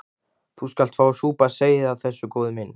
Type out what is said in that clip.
Þú skalt fá að súpa seyðið af þessu, góði minn.